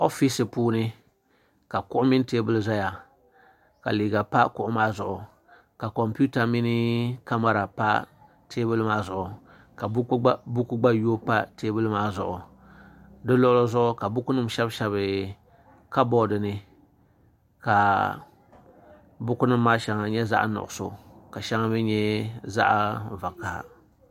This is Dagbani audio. oofis puuni ka kuɣu mini teebuli ʒɛya ka liiga pa kuɣu maa zuɣu ka kompiuta mini kamɛra pa teebuli maa zuɣu ka buku gba yooi pa teebuli maa zuɣu di luɣuli zuɣu ka buku nim shɛbi shɛbi kabood ni ka buku nim maa shɛŋa nyɛ zaɣ nuɣso ka shɛŋa mii nyɛ zaɣ vakaɣi